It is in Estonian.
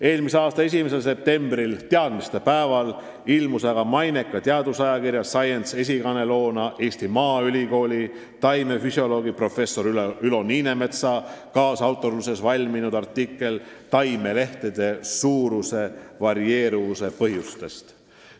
Eelmise aasta 1. septembril, teadmistepäeval ilmus maineka teadusajakirja Science esikaaneloona Eesti Maaülikooli taimefüsioloogi professor Ülo Niinemetsa kaasautorlusel valminud artikkel taimelehtede suuruse varieeruvuse põhjustest.